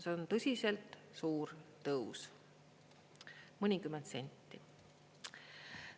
See on tõsiselt suur tõus, mõnikümmend senti.